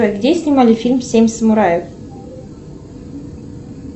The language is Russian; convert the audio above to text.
где снимали фильм семь самураев